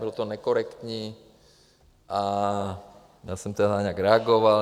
Bylo to nekorektní a já jsem tedy nějak reagoval.